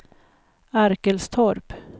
Arkelstorp